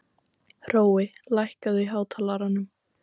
Hrói, lækkaðu í hátalaranum.